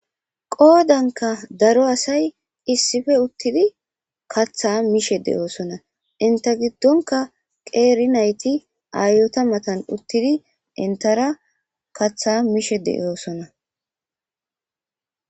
Qoodanka daro asay isipe uthidi kaatha mishe de'osona enta gidonka qeeri nayti aayota matan uthidi entara katha mishe de'osona.